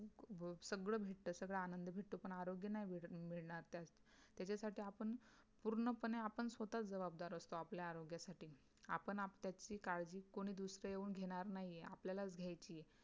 सगळं भेटत सगळं आनंद भेटत पण आरोग्य नाही मिळणार त्याच्यासाठी आपण पूर्णपणे आपण स्वतः जबाबदार असतो आपल्या आरोग्यासाठी आपण आपल्याची काळजी कोणी दुसरं येऊन घेणार नाहीय आपल्यालाच घ्यायची आहे